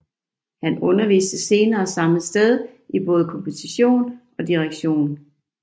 Han underviste senere samme sted i både komposition og direktion